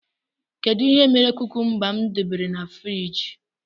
Kedụ ihe mere kúkúmba m debere n' fruidge?